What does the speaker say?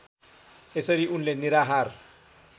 यसरी उनले निराहार